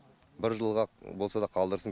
бір жылға болса да қалдырсын